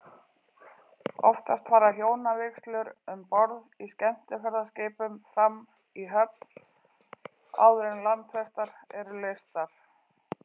Oftast fara hjónavígslur um borð í skemmtiferðaskipum fram í höfn, áður en landfestar eru leystar.